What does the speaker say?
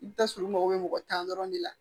I bɛ taa sɔrɔ u mago bɛ mɔgɔ tan dɔrɔn de la